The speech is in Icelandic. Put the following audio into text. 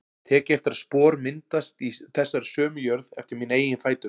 Tek eftir að spor myndast í þessari sömu jörð eftir mína eigin fætur.